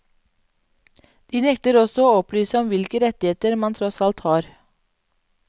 De nekter også å opplyse om hvilke rettigheter man tross alt har.